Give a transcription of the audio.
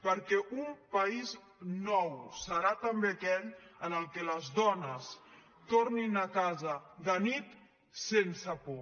perquè un país nou serà també aquell en el que les dones tornin a casa de nit sense por